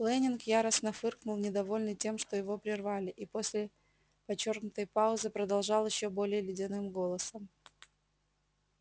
лэннинг яростно фыркнул недовольный тем что его прервали и после подчёркнутой паузы продолжал ещё более ледяным голосом